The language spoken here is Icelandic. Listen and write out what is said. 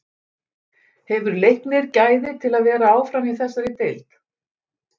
Hefur Leiknir gæði til að vera áfram í þessari deild?